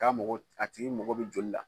K'a mago a tigi mago bi joli la